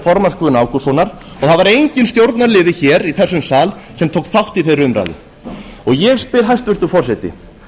formanns guðna ágústssonar og það var enginn stjórnarliði hér í þessum sal sem tók þátt í þeirri umræðu ég spyr hæstvirtur forseti